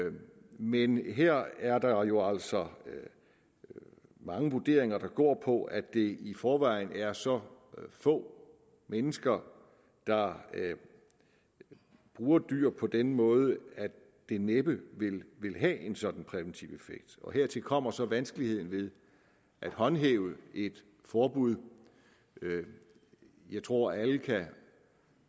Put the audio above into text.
men her er der jo altså mange vurderinger der går på at det i forvejen er så få mennesker der bruger dyr på den måde at det næppe vil have en sådan en præventiv effekt hertil kommer så vanskeligheden ved at håndhæve et forbud jeg tror at alle kan